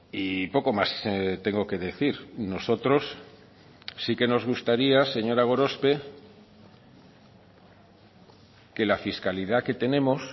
y poco más tengo que decir nosotros sí que nos gustaría señora gorospe que la fiscalidad que tenemos